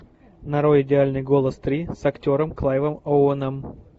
нарой идеальный голос три с актером клайвом оуэном